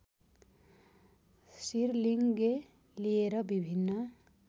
सिरलिङ्गे लिएर विभिन्न